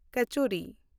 ᱠᱚᱪᱩᱨᱤ